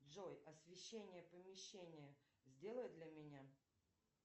джой освещение помещения сделай для меня